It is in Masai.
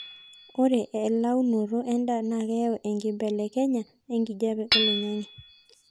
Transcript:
ore elaunoto endaa na keyau enkipelekenyaya ekijape oloingangi